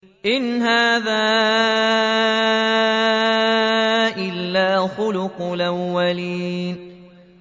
إِنْ هَٰذَا إِلَّا خُلُقُ الْأَوَّلِينَ